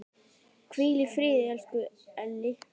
Hvíl í friði, elsku Elli.